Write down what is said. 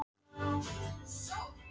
Það byggði upp nýtt líf og naut þess.